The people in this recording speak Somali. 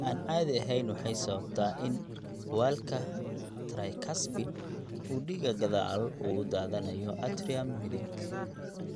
Aan caadi ahayn waxay sababtaa in waalka tricuspid uu dhiiga gadaal ugu daadanayo atrium midig.